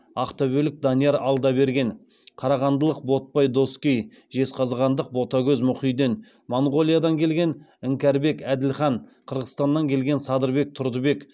ақтөбелік данияр алдаберген қарағандылық ботпай доскей жезқазғандық ботагөз мұхиден моңғолиядан келген іңкәрбек әділхан қырғызстаннан келген садырбек тұрдыбек